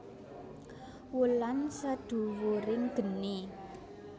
Wulan Sedhuwuring Geni